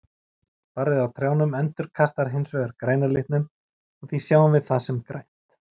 Barrið á trjánum endurkastar hins vegar græna litnum og því sjáum við það sem grænt.